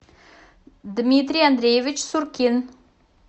дмитрий андреевич суркин